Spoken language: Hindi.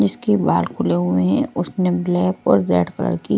इसके बाल खुले हुए हैं उसने ब्लैक और रेड कलर की--